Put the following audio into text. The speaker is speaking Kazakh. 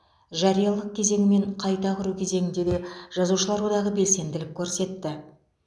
жариялық кезеңі мен қайта құру кезеңінде де жазушылар одағы белсенділік көрсетті